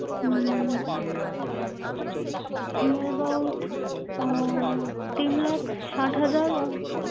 um Year about ah তিন লাখ সাত হাজার আহ,